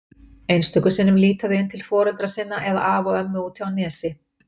Einstöku sinnum líta þau inn til foreldra sinna eða afa og ömmu úti á Nesi.